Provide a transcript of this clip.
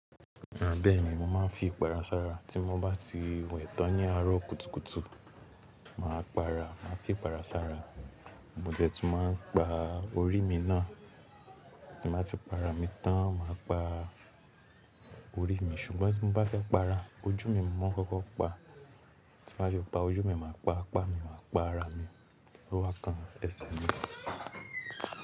À beeni mo máa ń fi ipara sára tí mo bá ti wẹ̀ tán ní àárọ̀ kùtùkùtù. Màá para, màá fi ipara sára. Mo jẹ tún máa ń pa orí mi náà. Tí màá ti para mi tán màá pa orí mi ṣùgbọ́n tí mo bá fẹ́ para, ojú mi mọ́ kọ́kọ́ pa. Tí mo bá ti pa ojú mi, màá pa apá mi, màá pa ara mi, lọ́wa kan ẹsẹ mi.